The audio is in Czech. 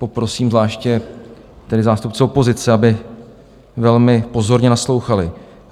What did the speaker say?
- Poprosím zvláště tedy zástupce opozice, aby velmi pozorně naslouchali.